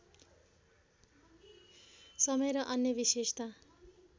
समय र अन्य विशेषता